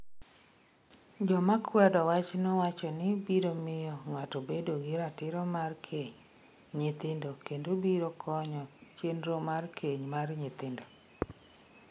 Joma kwedo wachno wacho ni biro miyo ng’ato obed gi ratiro mar keny nyithindo kendo biro konyo chenro mar keny mar nyithindo.